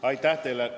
Aitäh teile!